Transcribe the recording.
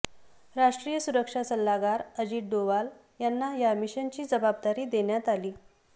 राष्ट्रीय सुरक्षा सल्लागार अजित डोवाल यांना या मिशनची जबाबदारी देण्यात आली